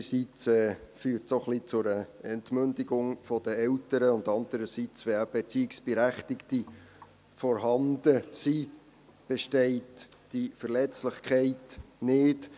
Einerseits führt es auch ein wenig zu einer Entmündigung der Eltern, und andererseits besteht diese Verletzlichkeit nicht, wenn Erziehungsberechtigte vorhanden sind.